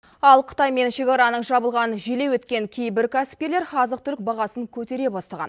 ал қытаймен шекараның жабылғанын желеу еткен кейбір кәсіпкерлер азық түлік бағасын көтере бастаған